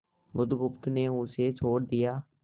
बुधगुप्त ने उसे छोड़ दिया